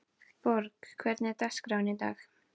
Borg, hvernig er dagskráin í dag?